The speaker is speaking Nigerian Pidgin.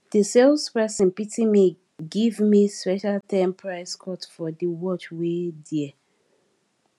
di sales person pity me give me special ten price cut for di watch wey dear